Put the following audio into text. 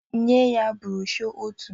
Nye ya brọshọ ọtu